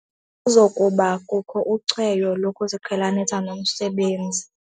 Kuza kubakho ucweyo lokuziqhelanisa nomsebenzi.